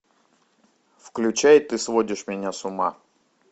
включай ты сводишь меня с ума